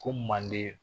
Ko manden